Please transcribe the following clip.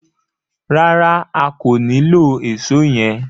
Rárá, a kò nilò Èṣó yẹn.